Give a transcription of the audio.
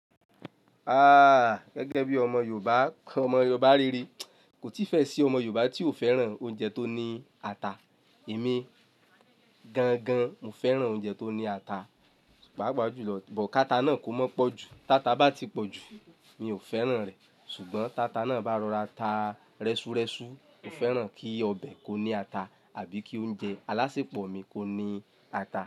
Ah! Gẹ́gẹ́ bí ọmọ Yorùbá, ọmọ Yorùbá rere, kò tí fẹ́ ṣe ọmọ Yorùbá tí ò fẹ́ràn oúnjẹ tó ní ata. Èmi-- gan gan, mo fẹ́ràn oúnjẹ tó ní ata. Páápàá jùlọ, but káta náà kó mọ́ pọ̀jù. Táta bá ti pọ̀ jù, mi ò fẹ́ràn rẹ̀, Ṣùgbọ́n táta náà bá rọra taa, rẹ́súrẹ́sú, mo fẹ́ràn kí ọbẹ̀ kó ní ata àbí kí oúnjẹ alásẹpọ̀ mi kó ní ata.